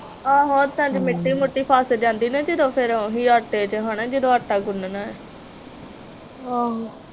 ਆਹੋ ਹੱਥਾਂ ਚ ਮਿੱਟੀ ਮੁੱਟੀ ਫੱਸ ਜਾਂਦੀ ਨਾ ਜਦੋ ਫਿਰ ਓਹੀ ਆਟੇ ਚ ਹੇਨਾ ਜਦੋਂ ਆਟਾ ਗੁਣਨਾ ਏ